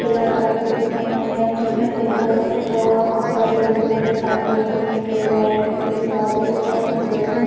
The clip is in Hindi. किला टाइप की दिखाई दे रहा है जिसमे पिंक कलर पुता हुआ है बहुत सारे विंडोयें दिखाई दे रही हैं | प्लेन वाइट कलर के बादल दिखाई दे रहे हैं |